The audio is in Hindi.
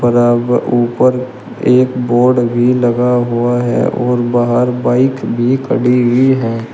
बराबर ऊपर एक बोर्ड भी लगा हुआ है और बाहर बाइक भी खड़ी हुई है।